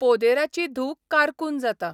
पोदेराची धूव कारकून जाता.